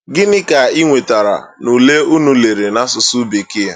Gịnị ka i nwetara n’ule ụnụ lere n’asụsụ Bekee? ’